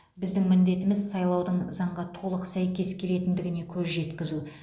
біздің міндетіміз сайлаудың заңға толық сәйкес келетіндігіне көз жеткізу